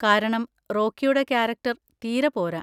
കാരണം റോക്കിയുടെ കാരക്ടർ തീരെ പോരാ.